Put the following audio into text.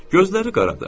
Gözləri qaradır.